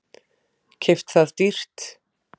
Keypt það dýrt.